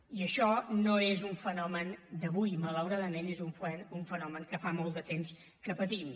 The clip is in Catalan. i això no és un fenomen d’avui malauradament és un fenomen que fa molt de temps que patim